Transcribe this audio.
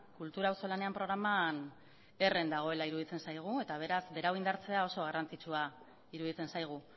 kultura auzolanean programan herren dagoela iruditzen zaigu eta beraz berau indartzea oso garrantzitsua iruditzen zaigu